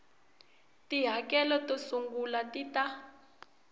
tihakelo to sungula ti ta